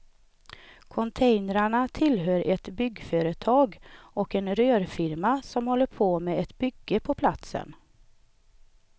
Containrarna tillhör ett byggföretag och en rörfirma som håller på med ett bygge på platsen.